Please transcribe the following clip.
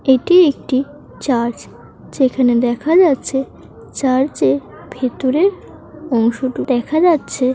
এটি একটি চার্চ । যেখানে দেখা যাচ্ছে চার্চের ভেতরে অংশটুকু দেখা যাচ্ছে--